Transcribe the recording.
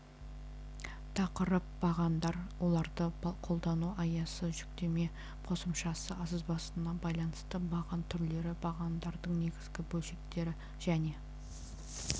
тақырып бағандар оларды қолдану аясы жүктеме қосымшасы сызбасына байланысты баған түрлері бағандардың негізгі бөлшектері және